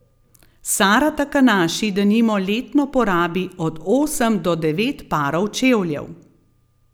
Sara Takanaši denimo letno porabi od osem do devet parov čevljev.